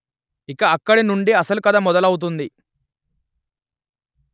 ఇక అక్కడినుండి అసలు కథ మొదలవుతుంది